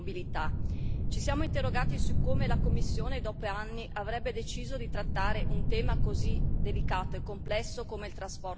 Ci siamo interrogati su come la Commissione dopo anni avrebbe deciso di trattare un tema così delicato e complesso come il trasporto stradale